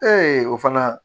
o fana